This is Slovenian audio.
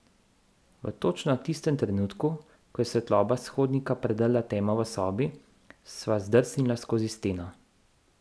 V točno tistem trenutku, ko je svetloba s hodnika predrla temo v sobi, sva zdrsnila skozi steno.